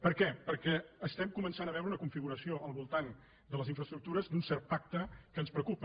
per què perquè estem començant a veure una configuració al voltant de les infraestructures d’un cert pacte que ens preocupa